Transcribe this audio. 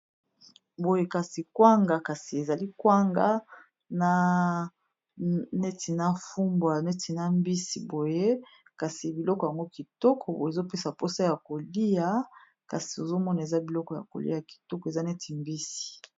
Boye kasi kwanga kasi ezali kwanga na neti na fumbwa neti na mbisi boye kasi biloko yango kitoko o ezopesa mposa ya kolia kasi ozomona eza biloko ya kolia kitoko eza neti mbisi